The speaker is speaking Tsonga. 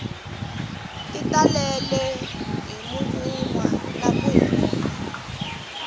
ti talele hi mavunwa naku hemba